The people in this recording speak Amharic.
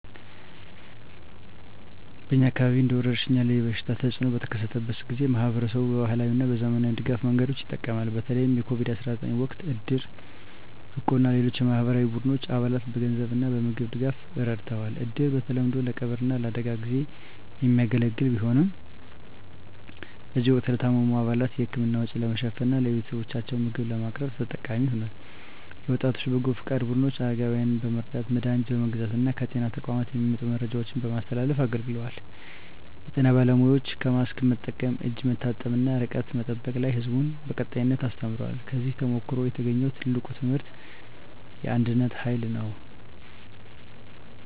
በእኛ አካባቢ እንደ ወረርሽኝ ያለ የበሽታ ተፅእኖ በተከሰተበት ጊዜ፣ ማኅበረሰቡ በባህላዊ እና በዘመናዊ የድጋፍ መንገዶች ይጠቀማል። በተለይ የCOVID-19 ወቅት እድር፣ እቁብ እና ሌሎች የማኅበራዊ ቡድኖች አባላትን በገንዘብ እና በምግብ ድጋፍ ረድተዋል። እድር በተለምዶ ለቀብር እና ለአደጋ ጊዜ የሚያገለግል ቢሆንም፣ በዚህ ወቅት ለታመሙ አባላት የሕክምና ወጪ ለመሸፈን እና ለቤተሰቦቻቸው ምግብ ለማቅረብ ተጠቃሚ ሆኗል። የወጣቶች በጎ ፈቃድ ቡድኖች አረጋውያንን በመርዳት፣ መድሀኒት በመግዛት እና ከጤና ተቋማት የሚመጡ መረጃዎችን በማስተላለፍ አገልግለዋል። የጤና ባለሙያዎችም በማስክ መጠቀም፣ እጅ መታጠብ እና ርቀት መጠበቅ ላይ ሕዝቡን በቀጣይነት አስተምረዋል። ከዚህ ተሞክሮ የተገኘው ትልቁ ትምህርት የአንድነት ኃይል ነው።